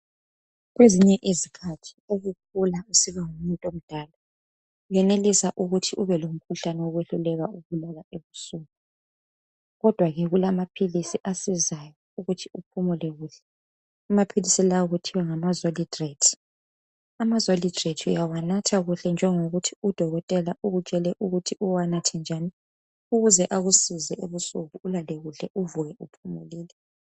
Kwezinye izikhathi ukukhula usiba ngumuntu omdala uyenelisa ukuthi ubelomkhuhlane wokwehluleka ukulala ebusuku kodwa ke kulamaphilisi asizayo ukuthi uphumule kuhle okuthiwa Amazolidrate amazolidrate uyawanatha kuhle njengokuthi udokotela ukutshele ukuthi uwanathe njan ukuze akusize ebusuku ulale kuhle ukuvuke uphumulile